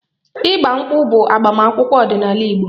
Igba nkwu bụ agbamakwụkwọ ọdinaala igbo